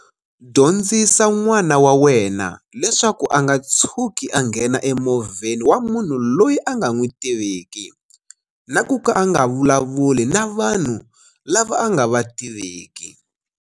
Dyondzisa n'wana wa wena leswaku a nga tshuki a nghena emovheni wa munhu loyi a nga n'wi tiviki na ku ka a nga vulavuli na vanhu lava a nga va tiviki.